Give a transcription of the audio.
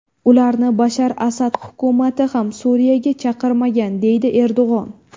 Ularni Bashar Asad hukumati ham Suriyaga chaqirmagan”, deydi Erdo‘g‘on.